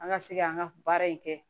An ka se ka an ka baara in kɛ